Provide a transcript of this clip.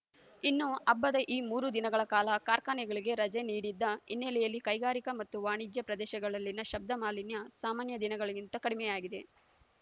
ಇನ್ನು ಹಬ್ಬದ ಈ ಮೂರು ದಿನಗಳ ಕಾಲ ಕಾರ್ಖಾನೆಗಳಿಗೆ ರಜೆ ನೀಡಿದ್ದ ಹಿನ್ನೆಲೆಯಲ್ಲಿ ಕೈಗಾರಿಕಾ ಮತ್ತು ವಾಣಿಜ್ಯ ಪ್ರದೇಶಗಳಲ್ಲಿನ ಶಬ್ದ ಮಾಲಿನ್ಯ ಸಾಮಾನ್ಯ ದಿನಗಳಿಗಿಂತ ಕಡಿಮೆಯಾಗಿದೆ